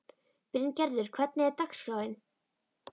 Bryngerður, hvernig er dagskráin?